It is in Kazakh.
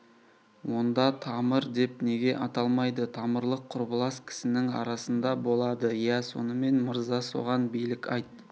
онда тамыр деп неге аталмайды тамырлық құрбылас кісінің арасында болады иә сонымен мырза соған билік айт